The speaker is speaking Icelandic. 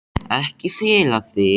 Ekki fela þig.